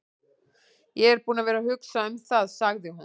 Ég er búin að vera að hugsa um það, sagði hún.